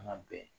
An ka bɛn